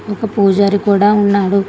ఒక పూజారి కూడా ఉన్నాడు.